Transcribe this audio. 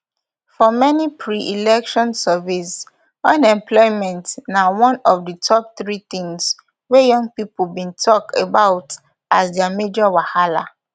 for many preelection surveys unemployment na one of di top three tins wey young pipo bin tok about as dia major wahala